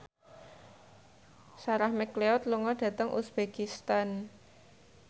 Sarah McLeod lunga dhateng uzbekistan